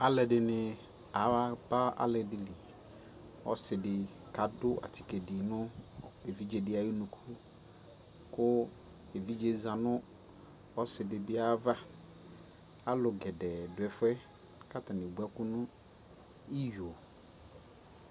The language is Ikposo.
alʋɛdini aba ali dili, ɔsiidi kʋ adʋ atikè dinʋ ɛvidzɛ di ayi ʋnʋkʋ kʋ ɛvidzɛ zanʋ ɔsiidi bi ayiava, alʋ gɛdɛɛ dʋ ɛƒʋɛ kʋ atani ɛwʋ ɛkʋ nʋ iyɔ